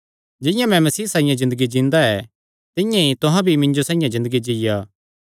जिंआं मैं मसीह साइआं ज़िन्दगी जींदा ऐ तिंआं ई तुहां भी मिन्जो साइआं ज़िन्दगी जीआ